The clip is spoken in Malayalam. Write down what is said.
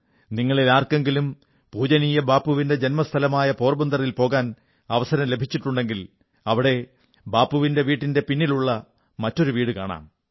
നിങ്ങളിലാർക്കെങ്കിലും പൂജനീയ ബാപ്പുവിന്റെ ജന്മസ്ഥലമായ പോർബന്തറിൽ പോകാൻ അവസരം ലഭിച്ചിട്ടുണ്ടെങ്കിൽ അവിടെ ബാപ്പുവിന്റെ വീടിന്റെ പിന്നിലുള്ള മറ്റൊരു വീടു കാണണം